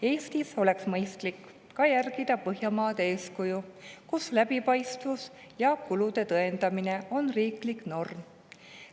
Eestis oleks mõistlik järgida Põhjamaade eeskuju, kus läbipaistvus ja kulude tõendamine on riiklik norm.